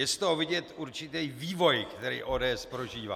Je z toho vidět určitý vývoj, který ODS prožívá.